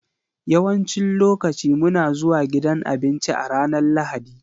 Yawancin lokaci muna zuwa gidan abinci a ranar Lahadi.